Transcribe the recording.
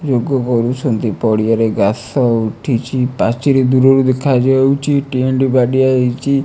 ଲୋକ ଗଡୁଛନ୍ତି ପଡ଼ିଆରେ ଗାସ ଉଠିଚି ପାଚିରି ଦୁରରୁ ଦେଖାଯାଉଚିବି ଟେଣ୍ଟ ବାଡିଆ ହେଇଚି ।